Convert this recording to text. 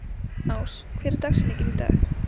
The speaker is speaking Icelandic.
Ás, hver er dagsetningin í dag?